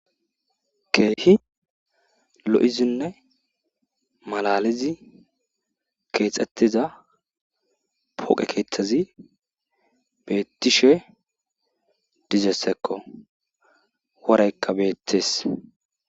Keehi lo7izinne malaaalizi keexettoza pooqe keethazi beettishe dzizesekko woraykka beettees.